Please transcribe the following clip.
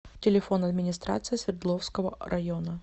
телефон администрация свердловского района